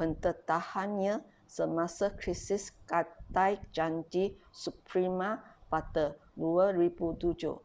pendedahannya semasa krisis gadai janji subprima pada 2007